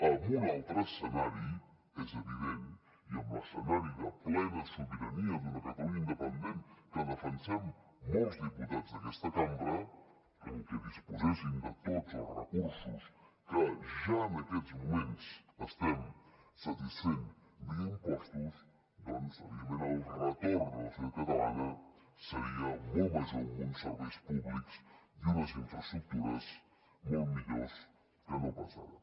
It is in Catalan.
amb un altre escenari és evident i amb l’escenari de plena sobirania d’una catalunya independent que defensem molts diputats d’aquesta cambra en què disposéssim de tots els recursos que ja en aquests moments estem satisfent via impostos doncs evidentment el retorn a la societat catalana seria molt major amb uns serveis públics i unes infraestructures molt millors que no pas ara